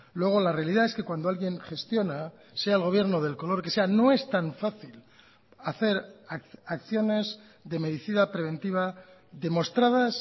luego la realidad es que cuando alguien gestiona sea el gobierno del color que sea no es tan fácil hacer acciones de medicina preventiva demostradas